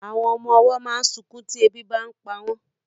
Àwọn ọmọ ọwọ́ máa ń sunkún tí ebi bàa ń pa wọn